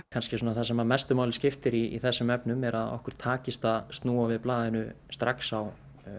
það sem mestu máli skiptir í þessum efnum er að okkur takist að snúa við blaðinu strax á